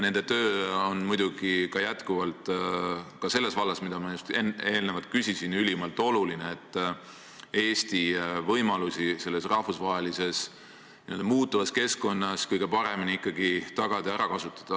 Nende töö on muidugi jätkuvalt ka selles vallas, mille kohta ma just eelnevalt küsisin, ülimalt oluline, et Eesti võimalusi selles rahvusvahelises muutuvas keskkonnas kõige paremini tagada ja ära kasutada.